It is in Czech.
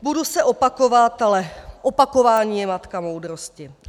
Budu se opakovat, ale opakování je matka moudrosti.